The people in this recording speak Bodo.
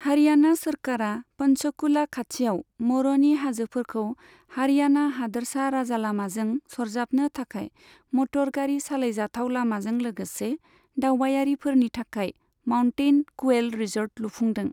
हारियाणा सोरखारा पन्चकूला खाथियाव म'रनी हाजोफोरखौ हारियाणा हादोरसा राजालामाजों सरजाबनो थाखाय मटर गारि सालायजाथाव लामाजों लोगोसे दावबायारिफोरनि थाखाय माउन्टेइन कुवेल रिजर्ट लुफुंदों।